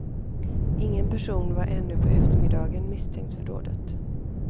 Ingen person var ännu på eftermiddagen misstänkt för dådet.